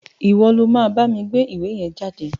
Ìwo lo ma bámi gbé ìwé yen jáde